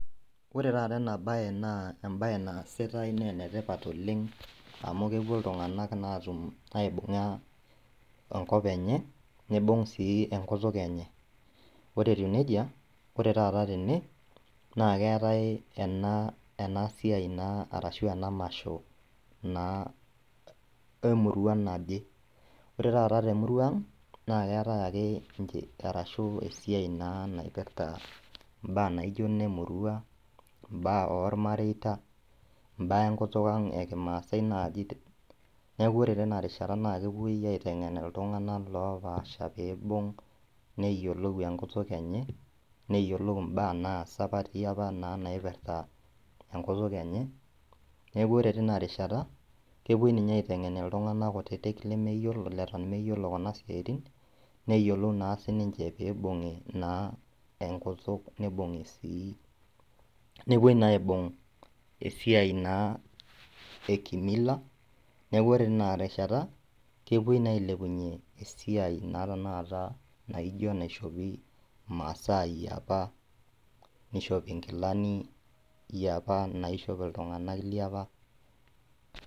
Ore taata enabaye naa embaye naasitai neenetipat oleng' amu kepuonu iltung'anak naatum aibung'aa enkop enye neibung' sii enkutuk enye. Ore etiu neija ore taata tene naakeetai ena enasiai naa arashu ena masho naa emurua naje. Ore taata temuruang' naaketai ake arashu esiai naa naipirta imbaa naijo nemurua, imbaa olmareita, imbaa enkutuk ang' ekimaasai naaji. Naaku ore teina rishata naakepuoi aiteng'en iltung'ana loopasha peeibung neyiolou enkutuk enye, neyiolou imbaa naasa apa tiapa naa naipirta enkutuk enye, neaku ore tinarishata kepuoi ninye aiteng'en iltung'anak kutitik lemeyiolo leton meyiolo kuna siatin neyiolou naa sininche peibung'i naa enkutuk neibung'i sii, nepuoi naa aibung'i esiai naa ekimila, neaku ore tinarishata kepuoi naa ailepunye esiai naa tenakata naijo naishopi imasaa eiapa neishopi inkilani eiapa naishop iltung'ana liapa.